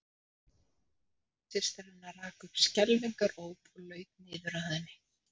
Systir hennar rak upp skelfingaróp og laut niður að henni.